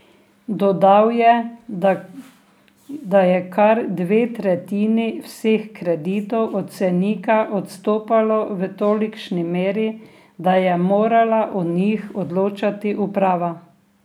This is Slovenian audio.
Dodal je, da je kar dve tretjini vseh kreditov od cenika odstopalo v tolikšni meri, da je morala o njih odločati uprava.